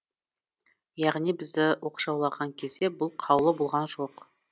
яғни бізді оқшаулаған кезде бұл қаулы болған жоқ